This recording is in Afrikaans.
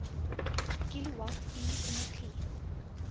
kilowatt uur energie